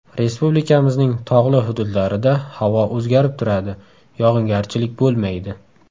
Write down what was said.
Respublikamizning tog‘li hududlarida havo o‘zgarib turadi, yog‘ingarchilik bo‘lmaydi.